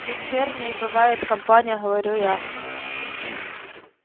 дочерней бывает компания говорю я